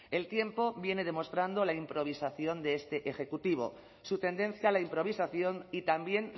el tiempo viene demostrando la improvisación de este ejecutivo su tendencia a la improvisación y también